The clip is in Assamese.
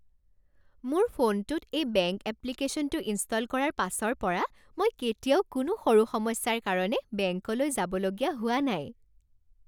মোৰ ফোনটোত এই বেংক এপ্লিকেশ্যনটো ইনষ্টল কৰাৰ পাছৰ পৰা মই কেতিয়াও কোনো সৰু সমস্যাৰ কাৰণে বেংকলৈ যাবলগীয়া হোৱা নাই।